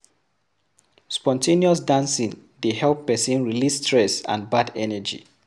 Spon ten ous dancing dey help person release stress and bad energy